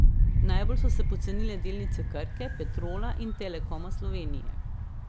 Najbolj so se pocenile delnice Krke, Petrola in Telekoma Slovenije.